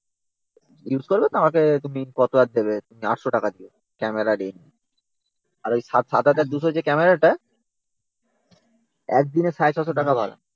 Use করবে আমাকে তুমি কত আর দেবে তুমি eight hundred টাকা দেবে। ক্যামেরা আর লেন্স। আর ওই seven thousand two hundred যে ক্যামেরা টা একদিনে six hundred fifty টাকা ভাড়া